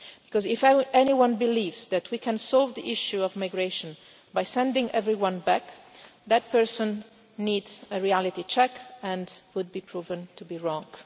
Because if anyone believes that we can solve the issue of migration by sending everyone back, that person needs a reality check and would be proven to be wrong.